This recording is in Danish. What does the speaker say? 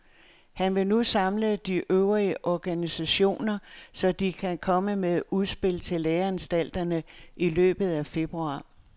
Han vil nu samle de øvrige organisationer, så de kan komme med et udspil til læreanstalterne i løbet af februar.